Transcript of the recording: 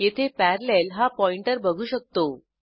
येथे पॅरालेल हा पॉइंटर बघू शकतो